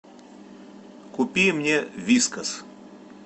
купи мне вискас